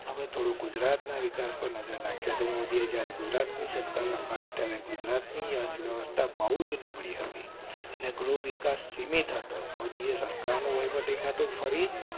થોડું ગુજરાત ના વિકાસ પર નજર નાખીએ તો મોદી જ્યારે ગુજરાત ની સત્તા સંભાળી ત્યારે ગુજરાત ની અર્થવ્યવસ્થા બહુ જ નબળી હતી. ગૃહ વિકાસ સીમિત હતો. મોદી સરકાર નું વહીવટી કા તો ફરી